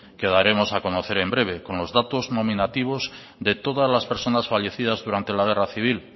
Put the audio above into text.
que daremos a conocer en breve con los datos nominativos de todas las personas fallecidas durante la guerra civil